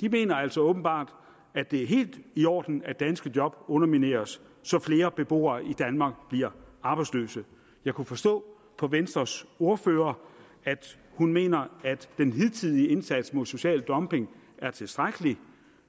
de mener altså åbenbart at det er helt i orden at danske job undermineres så flere beboere i danmark bliver arbejdsløse jeg kunne forstå på venstres ordfører at hun mener at den hidtidige indsats mod social dumping er tilstrækkelig